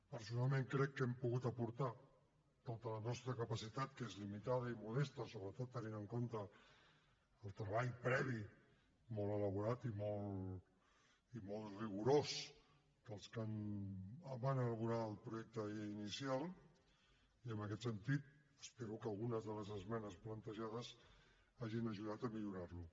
personalment crec que hem pogut aportar tota la nostra capacitat que és limitada i modesta sobretot tenint en compte el treball previ molt elaborat i molt rigorós dels que van elaborar el projecte de llei inicial i en aquest sentit espero que algunes de les esmenes plantejades hagin ajudat a millorar lo